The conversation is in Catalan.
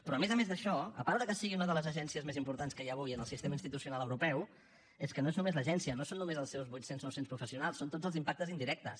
però a més a més d’això a part que sigui una de les agències més importants que hi ha avui en el sistema institucional europeu és que no és només l’agència no són només els seus vuit cents nou cents professionals són tots els impactes indirectes